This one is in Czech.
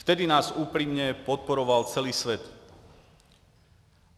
Tehdy nás upřímně podporoval celý svět.